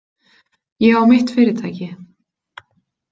Ég á mitt fyrirtæki.